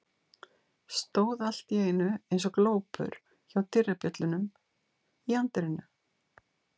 Stóð allt í einu eins og glópur hjá dyrabjöllunum í anddyrinu.